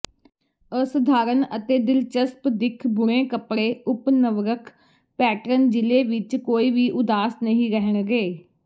ਅਸਧਾਰਨ ਅਤੇ ਦਿਲਚਸਪ ਦਿੱਖ ਬੁਣੇ ਕੱਪੜੇ ਓਪਨਵਰਕ ਪੈਟਰਨ ਜਿਲੇ ਵਿਚ ਕੋਈ ਵੀ ਉਦਾਸ ਨਹੀਂ ਰਹਿਣਗੇ